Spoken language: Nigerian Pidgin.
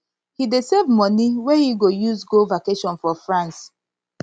he dey save money wey wey he go use go vacation for france